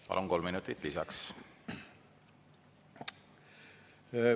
Palun, kolm minutit lisaks!